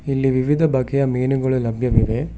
ಇಲ್ಲಿ ವಿವಿಧ ಬಗೆಯ ಮೀನುಗಳು ಲಭ್ಯವಿವೆ.